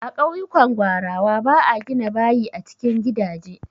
A ƙauyukan gwarawa ba a gina bayi a cikin gidaje.